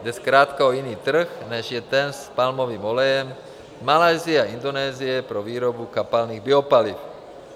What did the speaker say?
Jde zkrátka o jiný trh, než je ten s palmovým olejem z Malajsie a Indonésie pro výrobu kapalných biopaliv.